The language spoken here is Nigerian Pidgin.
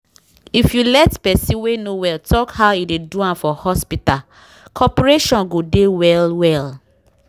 if you let person wey no well talk how e dey do am for hospital corporation go dey well-well